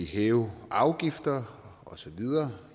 hæve afgifter og så videre